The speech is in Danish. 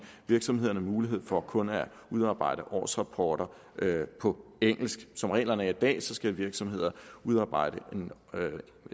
virksomhederne mulighed for kun at udarbejde årsrapporter på engelsk som reglerne er i dag skal virksomheder udarbejde